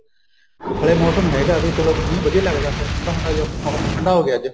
ਹਲੇ ਮੋਸਮ ਹੈਗਾ ਵੀ ਚਲੋ ਮੀਹ ਵਧੀਆ ਲੱਗਦਾ ਫ਼ੇਰ ਠੰਡਾ ਠੁੰਡਾ ਜਿਆ ਮੋਸਮ ਠੰਡਾ ਹੋ ਗਿਆ ਅੱਜ